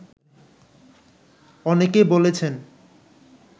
অনেকে বলেছেন